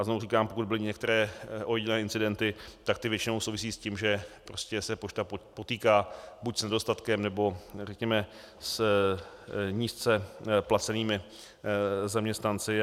A znovu říkám, pokud byly některé ojedinělé incidenty, tak ty většinou souvisí s tím, že se pošta potýká buď s nedostatkem, nebo řekněme s nízce placenými zaměstnanci.